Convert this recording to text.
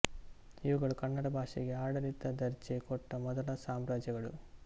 ಇವುಗಳು ಕನ್ನಡ ಭಾಷೆಗೆ ಆಡಳಿತ ದರ್ಜೆ ಕೊಟ್ಟ ಮೊದಲ ಸಾಮ್ರಾಜ್ಯಗಳು